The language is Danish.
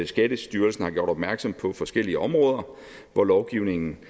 skattestyrelsen har gjort opmærksom på forskellige områder hvor lovgivningen